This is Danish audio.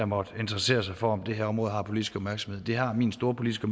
måtte interessere sig for om det her område har politisk opmærksomhed det har min store politiske